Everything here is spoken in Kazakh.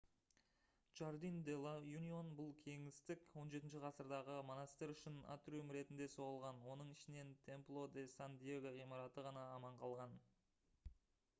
jardín de la unión. бұл кеңістік 17-ші ғасырдағы монастырь үшін атриум ретінде соғылған оның ішінен templo de san diego ғимараты ғана аман қалған